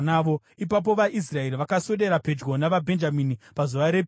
Ipapo vaIsraeri vakaswedera pedyo navaBhenjamini pazuva repiri.